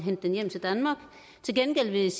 er